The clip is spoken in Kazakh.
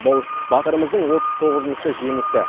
бұл батырымыздың отыз тоғызыншы жеңісі